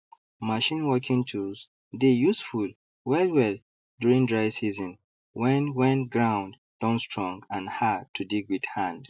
machine working tools dey useful wellwell during dry season when when ground don strong and hard to dig with hand